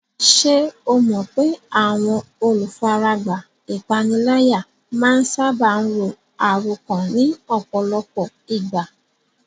Ṣé o mọ̀ pé àwọn olùfaragbá ìpániláyà máa ń sáábà ro àròkán ní ọ̀pọ̀lọpọ̀ ìgbà?